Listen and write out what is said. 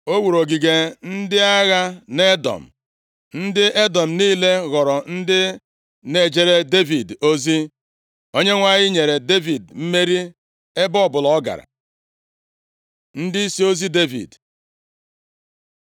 O wuru ogige ndị agha nʼEdọm, ndị Edọm niile ghọrọ ndị na-ejere Devid ozi. Onyenwe anyị nyere Devid mmeri ebe ọbụla ọ gara. Ndịisi ozi Devid